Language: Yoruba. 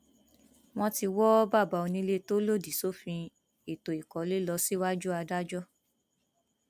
wọn ti wọ bàbá onílé tó lòdì sófin ètò ìkọlé lọ síwájú adájọ